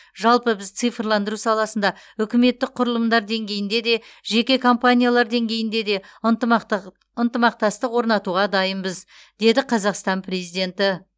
жалпы біз цифрландыру саласында үкіметтік құрылымдар деңгейінде де жеке компаниялар деңгейінде де ынтымақтастық орнатуға дайынбыз деді қазақстан президенті